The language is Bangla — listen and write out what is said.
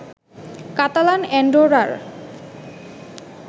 কাতালান অ্যান্ডোরার